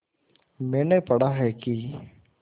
मैंने पढ़ा है कि